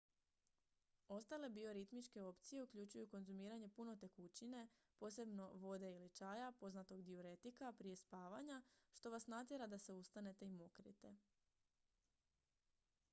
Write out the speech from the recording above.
ostale bioritmičke opcije uključuju konzumiranje puno tekućine posebno vode ili čaja poznatog dijuretika prije spavanja što vas natjera da se ustanete i mokrite